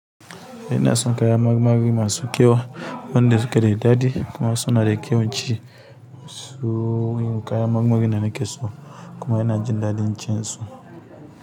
Eh inason kayan marmari masu kyau wanda suke da daɗi kuma suna da kyan ci. Su yin kayan marmarin da nakeso kuma ina jin daɗin cin su.